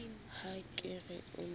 ha ke re o ne